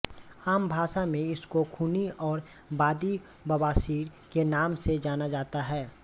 आम भाषा में इसको खूनी और बादी बवासीर के नाम से जाना जाता है